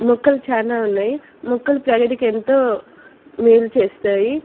మొక్కలు చాలా ఉన్నాయి మొక్కలు ప్రగతికి ఎంతో మేలు చేస్తాయి.